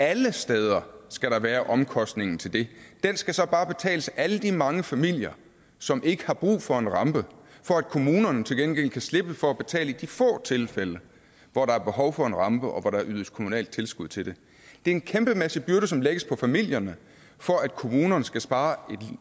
alle steder skal være omkostningen til det den skal så bare betales af alle de mange familier som ikke har brug for en rampe for at kommunerne til gengæld kan slippe for at betale i de få tilfælde hvor der er behov for en rampe og hvor der ydes kommunalt tilskud til det det er en kæmpemæssig byrde som lægges på familierne for at kommunerne skal spare